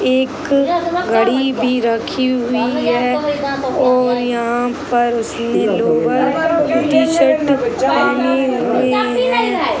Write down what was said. एक घड़ी भी रखी हुई है और यहाँ पर उसने लोअर टी शर्ट पहने हुए हैं।